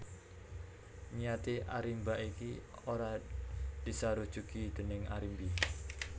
Niaté Arimba iki ora disarujuki déning Arimbi